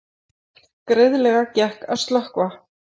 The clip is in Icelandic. Greiðlega gekk að slökkva